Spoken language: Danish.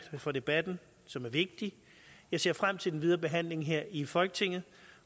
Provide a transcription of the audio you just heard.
for debatten som er vigtig jeg ser frem til den videre behandling her i folketinget